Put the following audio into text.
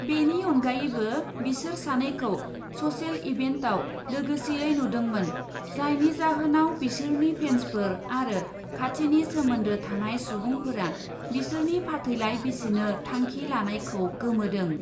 बेनि अनगायैबो बिसोर सानैखौ ससेल इभेन्टआव लोगोसेयै नुदोंमोन जायनि जाहोनाव बिसोरनि फेन्सफोर आरो खाथिनि सोमोन्दो थानाय सुबुंफोरा बिसोरनि फाथैलाइ बिसिनो थांखि लानायखौ गोमोदों।